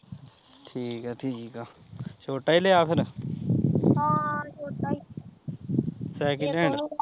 ਠੀਕ ਐ ਠੀਕ ਆ ਛੋਟਾ ਈ ਲਿਆ ਫਿਰ second hand